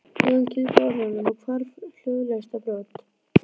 Jón kyngdi orðunum og hvarf hljóðalaust á brott.